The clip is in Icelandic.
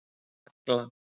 Agla